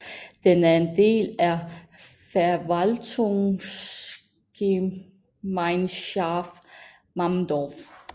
Den er en del af Verwaltungsgemeinschaft Mammendorf